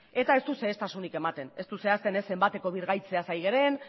eta ez du xehetasunik ematen ez du zehazten ez zenbateko birgaitzeaz ari garen